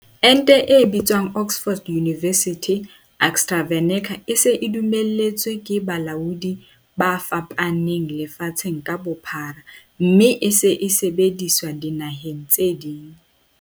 Ente e bitswang Oxford University AstraVeneca e se e dumelletswe ke balaodi ba fapaneng lefatshe ka bophara mme e se e sebediswa dinaheng tse ding.